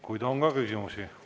Kuid on ka küsimusi.